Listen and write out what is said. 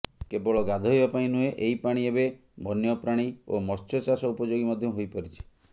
କେବଳ ଗାଧେଇବା ନୁହେଁ ଏହି ପାଣି ଏବେ ବନ୍ୟପ୍ରାଣୀ ଓ ମତ୍ସ୍ୟଚାଷ ଉପଯୋଗୀ ମଧ୍ୟ ହୋଇପାରିଛି